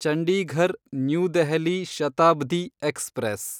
Chandigarh new Delhi Shatabdi express